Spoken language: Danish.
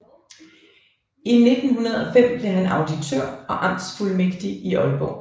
I 1905 blev han auditør og amtsfuldmægtig i Aalborg